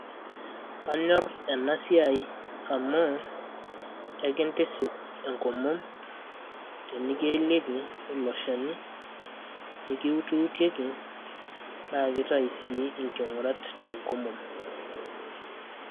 Kanyor enasiai amu, enkintisip enkomom tenikielieki olchani, nikiutiutieki, naa kitayu sii inking'urat tenkomom.